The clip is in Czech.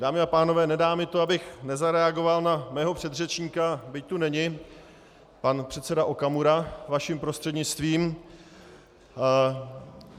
Dámy a pánové, nedá mi to, abych nezareagoval na svého předřečníka, byť tu není pan předseda Okamura, vaším prostřednictvím.